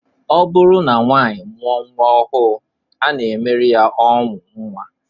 Ọ bụrụ na nwaanyị mụọ nnwa ọhụụ, a na-emere ya ọṅụ nnwa